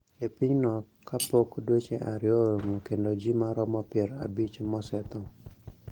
E pinyno ka pok dweche ariyo orumo kendo ji maromo pier abich mosetho